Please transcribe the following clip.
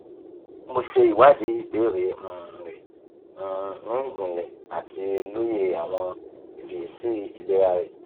- mo ṣe iwadi ibeere um rẹ um ni ijinle ati loye awọn ifiyesi ilera rẹ